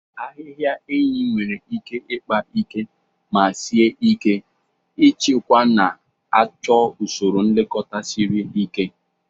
Ahịhịa enyi nwere ike ịkpa ike ma sie ike ịchịkwa, na-achọ usoro nlekọta siri ike.